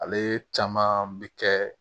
Ale caman bɛ kɛ